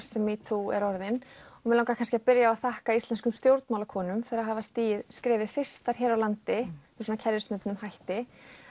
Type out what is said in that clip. sem metoo er orðin og mig langaði kannski að byrja að þakka íslenskum stjórnmálakonum fyrir að hafa stigið skrefið fyrstar hér á landi með kerfisbundnum hætti